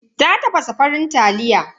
Ta tafasa farin taliya.